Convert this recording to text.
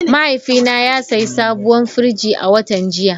Mahaifina ya sayi sabuwar firji a watan jiya.